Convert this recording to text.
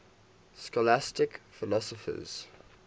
scholastic philosophers